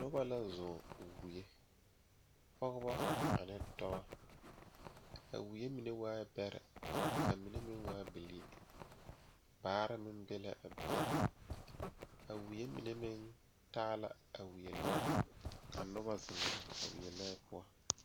Nobɔ la zɔɔ wie pɔgebɔ ane dɔbɔ a wie mine waai bɛrɛ ka mine meŋ waa bilii baare meŋ be la a be a wie mine meŋ taa la a wie lɔɛ ka nobɔ zeŋ a wie lɔɛ poɔ.